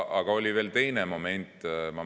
Aga oli veel teine moment.